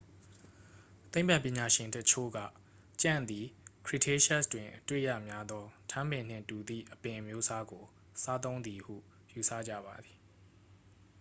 သိပ္ပံပညာရှင်အချို့က ကြံ့သည် cretaceous တွင်အတွေ့ရများသော ထန်းပင်နှင့်တူသည့်အပင်အမျိုးအစားကို စားသုံးသည်ဟု ယူဆကြပါသည်